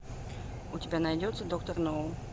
у тебя найдется доктор ноу